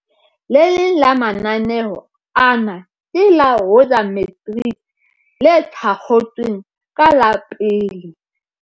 Le leng la mananeo ana ke la Woza Matrics, le thakgotsweng ka la 1